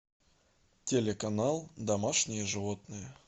телеканал домашние животные